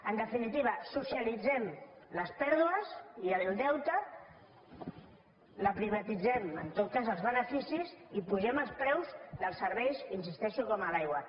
en definitiva socialitzem les pèrdues i el deute privatitzem en tot cas els beneficis i apugem els preus dels serveis hi insisteixo com l’aigua